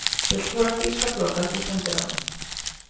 Fulltrúar þýska flotans í sendiráðum